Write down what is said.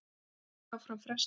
Þingfundi áfram frestað